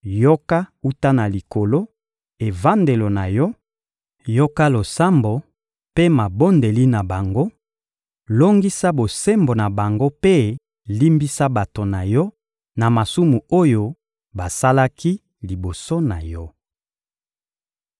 yoka wuta na Likolo, evandelo na Yo; yoka losambo mpe mabondeli na bango, longisa bosembo na bango mpe limbisa bato na Yo na masumu oyo basalaki liboso na Yo.